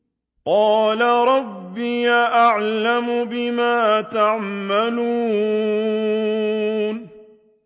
قَالَ رَبِّي أَعْلَمُ بِمَا تَعْمَلُونَ